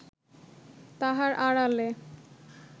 তাহার আড়ালে